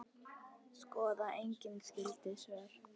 Skoðið einnig skyld svör